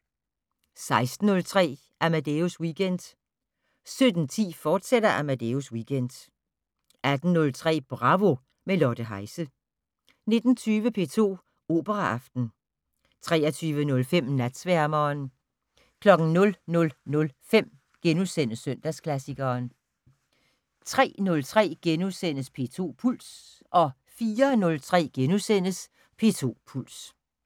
16:03: Amadeus Weekend 17:10: Amadeus Weekend, fortsat 18:03: Bravo - med Lotte Heise 19:20: P2 Operaaften 23:05: Natsværmeren 00:05: Søndagsklassikeren * 03:03: P2 Puls * 04:03: P2 Puls *